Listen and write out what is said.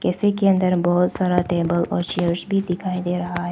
इसी के अंदर बहोत सारा टेबल और चेयर्स भी दिखाई दे रहा--